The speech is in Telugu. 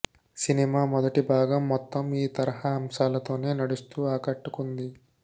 సినిమా మొదటి భాగం మొత్తం ఈ తరహా అంశాలతోనే నడుస్తూ ఆకట్టుకుంది